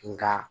Nga